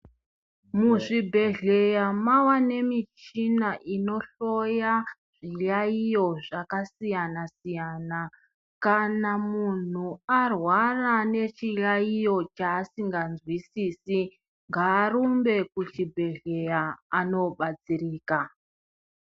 Muzvibhedhleya mava nemichina inohloya zviyaiyo zvakasiyana-siyana. Kana muntu arwara nechiyaiyo chasingazwisisi ngarumbe kuchibhedhleya anobatsirika.